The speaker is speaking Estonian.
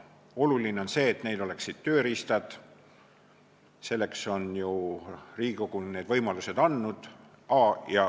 Oluline on see, et neil oleksid tööriistad, ja selleks on Riigikogu võimalused andnud.